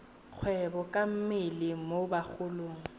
kgwebo ka mmele mo bagolong